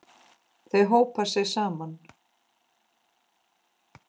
Þau hópa sig saman.